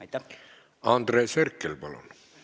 Andres Herkel, palun!